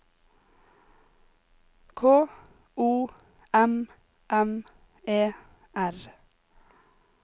K O M M E R